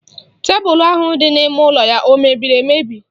Tebụlụ ahụ dị n'ime ụlọ ya o mebiri emebi?